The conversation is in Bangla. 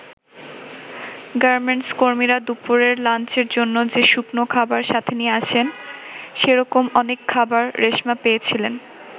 গার্মেন্টস কর্মীরা দুপুরের লাঞ্চের জন্য যে শুকনো খাবার সাথে নিয়ে আসেন, সেরকম অনেক খাবার রেশমা পেয়েছিলেন।